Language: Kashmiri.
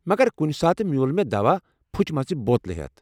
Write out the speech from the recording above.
مگر کُنِہ ساتہٕ میوٗل مے٘ دواہ پھُچمٕژٕ بوتلہٕ ہیتھ ۔